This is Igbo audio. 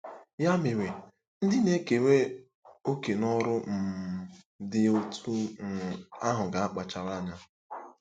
Ya mere, ndị na-ekere òkè n'ọrụ um dị otú um ahụ ga-akpachara anya.